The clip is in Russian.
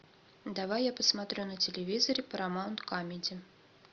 давай я посмотрю на телевизоре парамаунт камеди